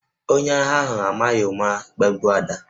Onye agha ahụ amaghị ụma gbagbuo Ada